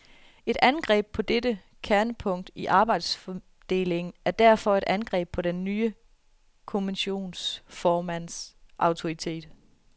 Et angreb på dette kernepunkt i arbejdsfordelingen er derfor et angreb på den nye kommissionsformands autoritet.